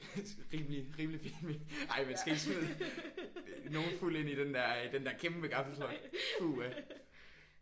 Rimelig rimelig fin mening. Ej man skal ikke smide nogen fuld ind i den der den der kæmpe gaffeltruck puha